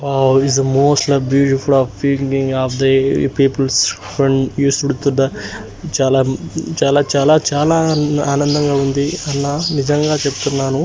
Is a most of the peoples చాలా చాలా ఆనందంగా ఉంది నిజంగా చెప్తున్నాను.